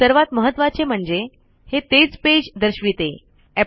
सर्वात महत्वाचे म्हणजे हे तेच पेज दर्शविते